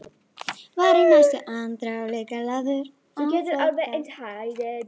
Var í næstu andrá líka lagður á flótta.